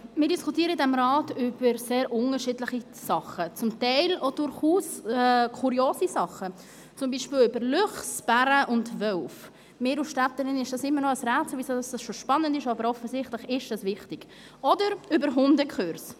Wir diskutieren in diesem Rat über sehr unterschiedliche Sachen, zum Teil durchaus kuriose Sachen, zum Beispiel über Luchse, Bären und Wölfe – mir als Städterin ist es immer noch ein Rätsel, weshalb das so spannend ist, aber offensichtlich ist das wichtig – oder über Hundekurse.